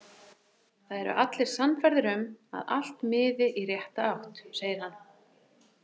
Það eru allir sannfærðir um að allt miði í rétta átt, segir hann.